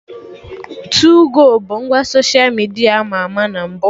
Tuu-go bụ ngwa soshia midia ama ama na mbụ